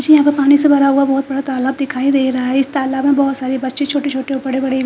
मुझे यहां पर पानी से भरा हुआ बहुत बड़ा तलाब दिखाई दे रहा है इस तलाब में बहुत सारे बच्चे छोटे छोटे और बड़े बड़े--